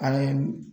Ale